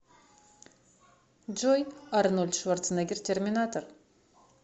джой арнольд шварценеггер терминатор